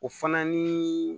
O fana ni